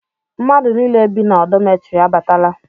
Mmadụ nile bi na dọmetiri abatala